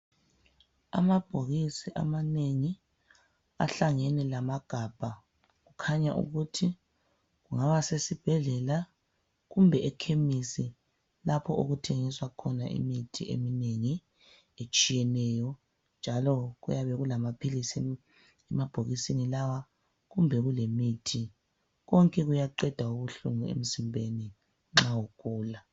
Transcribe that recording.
Amabhokisi amanengi ahlangene lamagabha kukhanya ukuthi ngawasesibhedlela kumbe ekhemisi lapho okuthengiswa khona imithi eminengi etshiyeneyo njalo kuyabe kulamaphilisi emabhokisini lawa kumbe kulemithi. Konke kuyaqeda ubuhlungu emzimbeni nxa ugula.